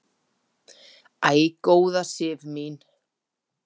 Æ, góða Sif mín!